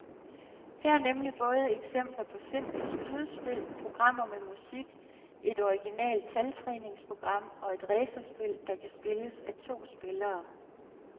Her er nemlig både eksempler på simple skydespil, programmer med musik, et originalt taltræningsprogram og et racerspil, der kan spilles af to spillere.